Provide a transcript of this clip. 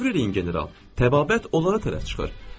Təsəvvür eləyin general, təbabət onlara tərəf çıxır.